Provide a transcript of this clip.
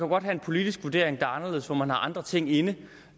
godt have en politisk vurdering der er anderledes hvor man har andre ting inde